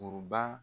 Kuruba